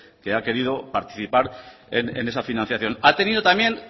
que ha querido participar en esa financiación ha tenido también